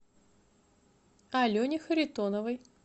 алене харитоновой